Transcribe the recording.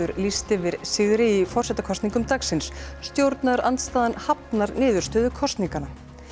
lýst yfir sigri í forsetakosningum dagsins stjórnarandstaða hafnar niðurstöðu kosninganna